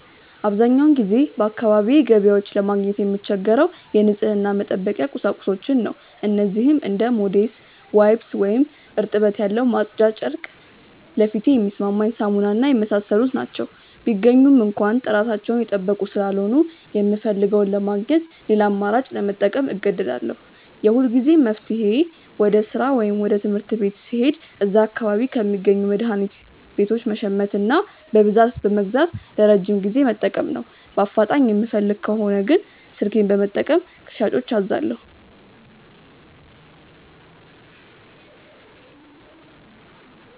አብዛኛውን ጊዜ በአካባቢዬ ገበያዎች ለማግኘት የምቸገረው የንጽህና መጠበቂያ ቁሳቁሶችን ነው። እነዚህም እንደ ሞዴስ፣ ዋይፕስ (እርጥበት ያለው ማጽጃ ጨርቅ)፣ ለፊቴ የሚስማማኝ ሳሙና እና የመሳሰሉት ናቸው። ቢገኙም እንኳ ጥራታቸውን የጠበቁ ስላልሆኑ፣ የምፈልገውን ለማግኘት ሌላ አማራጭ ለመጠቀም እገደዳለሁ። የሁልጊዜም መፍትሄዬ ወደ ሥራ ወይም ትምህርት ቤት ስሄድ እዚያ አካባቢ ከሚገኙ መድኃኒት ቤቶች መሸመትና በብዛት በመግዛት ለረጅም ጊዜ መጠቀም ነው። በአፋጣኝ የምፈልግ ከሆነ ግን ስልኬን በመጠቀም ከሻጮች አዛለሁ።